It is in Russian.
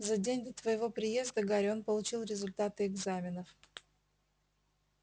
за день до твоего приезда гарри он получил результаты экзаменов